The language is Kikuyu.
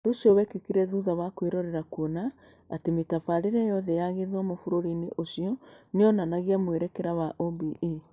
Ũndũ ũcio wekĩkire thutha wa kwĩrorera kuona atĩ mĩtabarĩre yothe ya gĩthomo bũrũri-inĩ ũcio nĩ yonanagia mwerekera wa OBE.